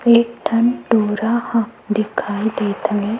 एक ठन टूरा ह दिखाई देत हे।